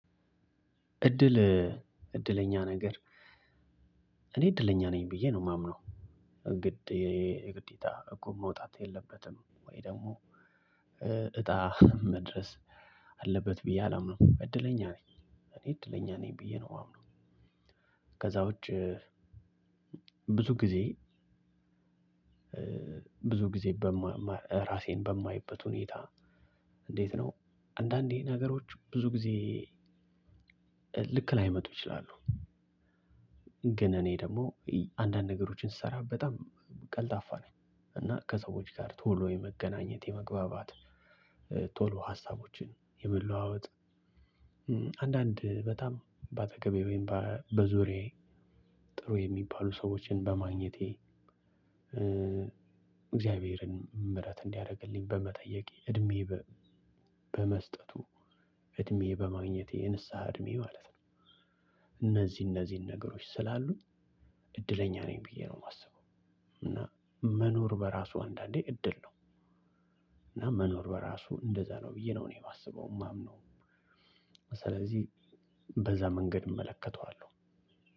እድለኛ ነገር እኔ እድለኛ ነኝ ብዬ ነው የማምነው። ግድ የግዴታ እቁብ መውጣት የለበትም ወይ ደግሞ እጣ መድረስ አለበት ብዬ አላምንም። እድለኛ ነኝ እኔ እድለኛ ነኝ ብዬ ነው ማምነው። ከዛ ውጭ ብዙ ጊዜ ብዙ ጊዜ ራሴን በማይበት ሁኔታ። እንዴት ነው? አንዳንዴ ነገሮች ብዙ ጊዜ ልክ ላይመጡ ይችላሉ። ግን እኔ ደግሞ አንዳንድ ነገሮችን ስሰራ በጣም ቀልጣፋ ነኝ። እና ከሰዎች ጋር ቶሎ የመገናኘት የመግባባት ቶሎ ሀሳቦችን የመለዋወጥ። አንዳንድ በጣም በአጠገቤ ወይም በዙሪያየ ጥረ የሚባሉ ሰዎችን በማግኜቴ። እግዚአብሔርን ምህረት እንዲያደርግልኝ በመጠየቅ እድሜ በመስጠቱ እድሜ በማግኘቴ የንስሃ እድሜ ማለት ነው። እነዚህ እነዚህን ነገሮች ስላሉ እድለኛ ነኝ ብዬ ነው የማስበው። እና መኖር በራሱ አንዳንዴ እድል ነው። እና መኖር በራሱ እንደዛ ነው ብዬ ነው እኔ የማስበው የማምነው። ስለዚህ በዛ መንገድ እመለከተዋለሁ።